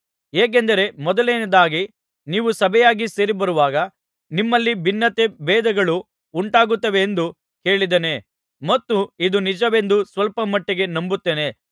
ಹೇಗೆಂದರೆ ಮೊದಲನೆಯದಾಗಿ ನೀವು ಸಭೆಯಾಗಿ ಸೇರಿಬರುವಾಗ ನಿಮ್ಮಲ್ಲಿ ಭಿನ್ನತೆ ಭೇದಗಳು ಉಂಟಾಗುತ್ತವೆಂದು ಕೇಳಿದ್ದೇನೆ ಮತ್ತು ಇದು ನಿಜವೆಂದು ಸ್ವಲ್ಪ ಮಟ್ಟಿಗೆ ನಂಬುತ್ತೇನೆ